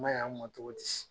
Man ɲi anw ma cogo di